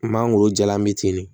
Mangoro jalan bɛ ten de